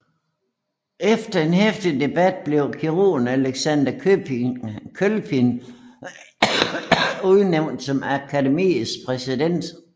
Efter en heftig debat blev kirurgen Alexander Kølpin udnævnt som akademiets præsident